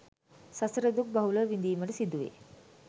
සසර දුක් බහුලව විඳීමට සිදුවේ.